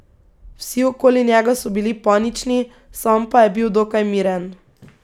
Vsi okoli njega so bili panični, sam pa je bil dokaj miren.